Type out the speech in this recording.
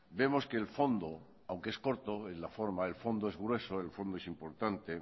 vemos que el fondo aunque es corto en la forma el fondo es grueso el fondo es importante